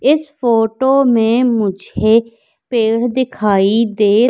इस फोटो में मुझे पेड़ दिखाई दे--